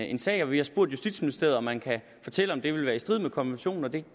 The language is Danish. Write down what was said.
en sag vi har spurgt justitsministeriet om man kan fortælle om det vil være i strid med konventionen og det